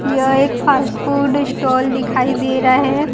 यह एक fast food stall दिखाई दे रहा है।